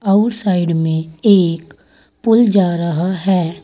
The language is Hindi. अउर साइड में एक पुल जा रहा है।